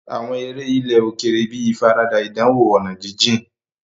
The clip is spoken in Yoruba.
Àwọn eré ilẹ̀ òkèèrè bíi ìfaradà ìdánwò ọ̀nà jíjìn.